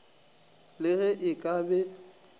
le ge e ka be